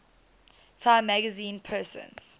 time magazine persons